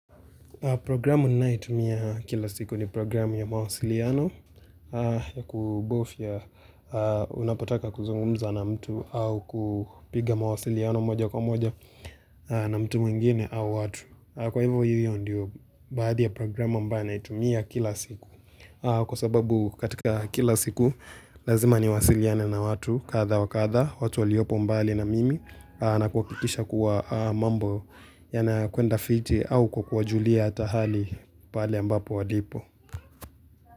Programu ninayoitumia kila siku ni programu ya mawasiliano ya kubofia unapotaka kuzungumza na mtu au kupiga mawasiliano moja kwa moja na mtu mwingine au watu. Kwa hivyo hivyo ndiyo baadhi ya programu ambayo na itumia kila siku kwa sababu katika kila siku lazima niwasiliane na watu kadha wa kadha watu waliopo mbali na mimi na kuhakikisha kuwa mambo ya na kwenda fiti au kwa kuwajulia ata pahali pale ambapo walipo.